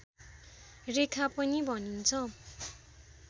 रेखा पनि भनिन्छ